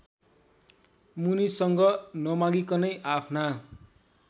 मुनिसँग नमागिकनै आफ्ना